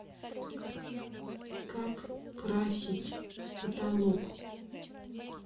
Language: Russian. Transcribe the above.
как красить потолок